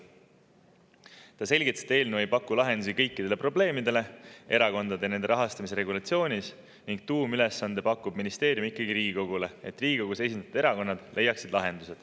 Ta selgitas, et eelnõu ei paku lahendusi kõikidele probleemidele, mis erakondade ja nende rahastamise regulatsioonis on, ning tuumülesande pakub ministeerium ikkagi Riigikogule, et Riigikogus esindatud erakonnad leiaksid lahenduse.